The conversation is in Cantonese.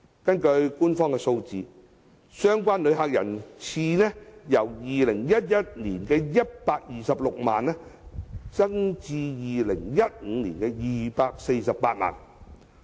根據官方數字，相關旅客人次由2011年的126萬，增至2015年的248萬。